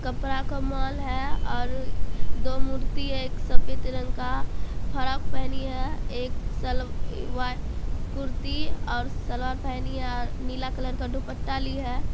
कपड़ा का मोल है । और दो मूर्ति है । एक सफेद रंग का फराक पहनी है और एक सलवार कुर्ती और सलवार पहनी है और नीले कलर का दुपट्टा ली है।